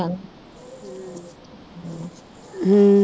ਹਮ